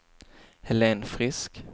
Helen Frisk